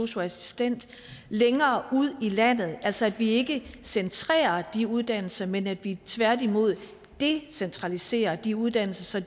sosu assistent længere ude i landet altså at vi ikke centrerer de uddannelser men at vi tværtimod decentraliserer de uddannelser